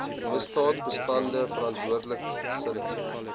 misdaadbestande verantwoordelike gesinne